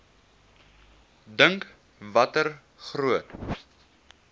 dink watter groot